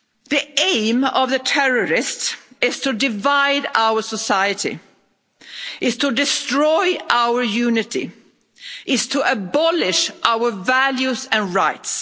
The aim of the terrorist is to divide our society, is to destroy our unity, is to abolish our values and rights.